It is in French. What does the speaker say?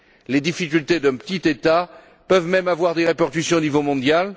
Les difficultés d'un petit État peuvent même avoir des répercussions au niveau mondial.